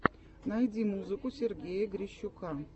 найди музыку сергея грищука